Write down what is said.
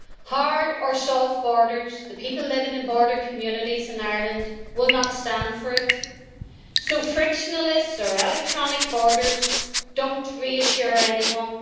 Hard or soft borders, the people living in border communities in Ireland will not stand for it, so frictionless or electronic borders do not reassure anyone.